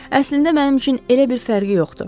Əslində mənim üçün elə bir fərqi yoxdur.